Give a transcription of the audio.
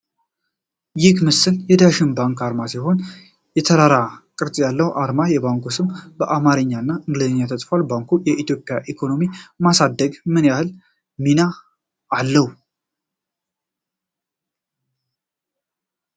ይህ ምስል የዳሸን ባንክ አርማ ሲሆን፣ የተራራ ቅርጽ ያለው አርማና የባንኩ ስም በአማርኛና እንግሊዝኛ ተጽፏል። ባንኩ የኢትዮጵያን ኢኮኖሚ በማሳደግ ምን ያህል ሚና አለው?